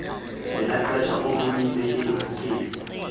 ngelaa xesha ubulibekile